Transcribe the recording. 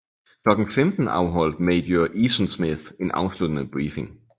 Klokken 15 afholdt major Easonsmith en afsluttende briefing